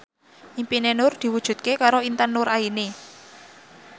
impine Nur diwujudke karo Intan Nuraini